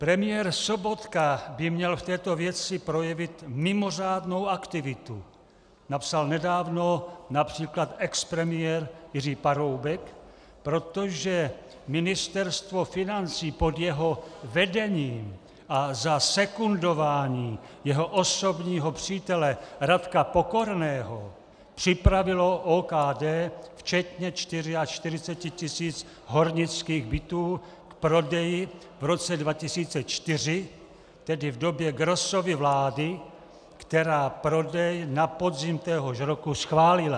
Premiér Sobotka by měl v této věci projevit mimořádnou aktivitu, napsal nedávno například expremiér Jiří Paroubek, protože Ministerstvo financí pod jeho vedením a za sekundování jeho osobního přítele Radka Pokorného připravilo OKD včetně 44 tisíc hornických bytů k prodeji v roce 2004, tedy v době Grossovy vlády, která prodej na podzim téhož roku schválila.